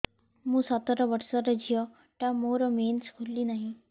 ମୁ ସତର ବର୍ଷର ଝିଅ ଟା ମୋର ମେନ୍ସେସ ଖୁଲି ନାହିଁ